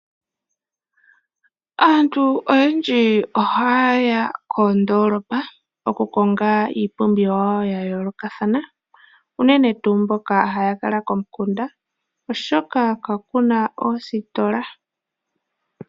Aantu oyendji ohaye ya koondoolopa okukonga iipumbiwa yawo yayoolokathana. Uunene tuu mboka haya kala komukunda oshoka kakuna oositola.